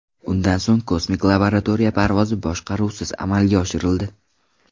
Undan so‘ng kosmik laboratoriya parvozi boshqaruvsiz amalga oshirildi.